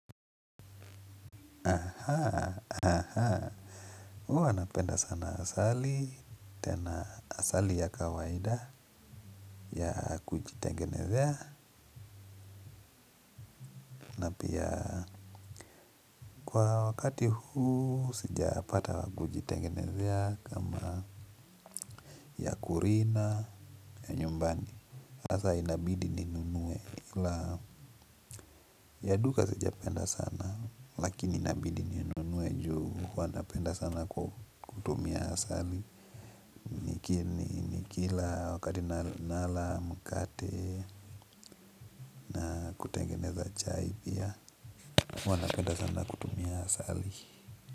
Aha aha huwa napenda sana asali tena asali ya kawaida ya kuji tengenezea ya kwa wakati huu sijapata wa kujitengenezea kama ya kulima ya nyumbani sasa inabidi ninunuwe ya duka sija penda sana lakini inabidi ninunuwe juu huwa napenda sana kutumia asali lakini kila wakati nala mkate kutengeneza chai pia huwa napenda sana kutumia asali.